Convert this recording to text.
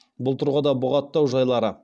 бұл тұрғыда бұғаттау жайлары